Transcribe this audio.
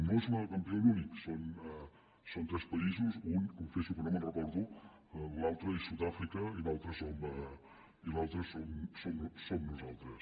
no és el campió únic són tres països un confesso que no me’n recordo l’altre és sud àfrica i l’altre som nosaltres